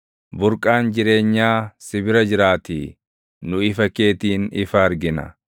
Burqaan jireenyaa si bira jiraatii; nu ifa keetiin ifa argina.